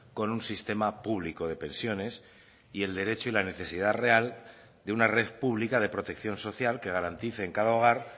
con un sistema público de pensiones y el derecho y la necesidad real de una red pública de protección social que garantice en cada hogar